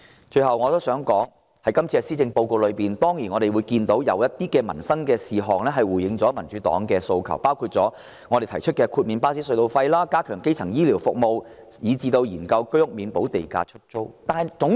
最後，我想指出，在今年的施政報告中，我們當然看到政府就一些民生事項回應了民主黨的訴求，包括我們提出的豁免巴士隧道費，加強基層醫療服務，以至研究居屋免補地價出租。